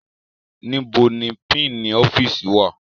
Níbo ni pínǹì ọ́fíìsì wà?